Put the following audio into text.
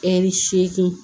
Ɛri seegin